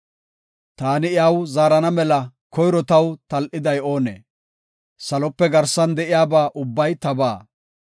Taani iyaw zaarana mela koyro taw tal7iday oonee? Salope garsan de7iyaba ubbay tabaa.